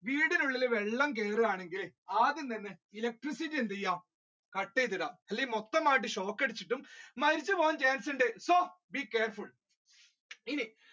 വീടിന് ഉള്ളിൽ വെള്ളം കേറുകയാണെങ്കിൽ ആദ്യം തന്നെ electricity എന്തെയുക cut ചെയ്തിടുക അല്ലെങ്കിൽ മൊത്തമായി shock അടിച്ചിട്ട് മരിച്ചുപോകാൻ chance ഉണ്ട് so, be careful ഇനി